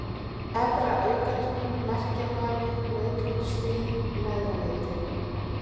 Efra-Aukatún, Merkjabali, Nautholtsdý, Neðraleiti